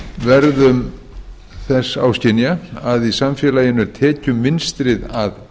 verðum þess áskynja að í samfélaginu er tekjumunstrið að